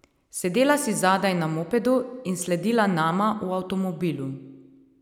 Sedela si zadaj na mopedu in sledila nama v avtomobilu.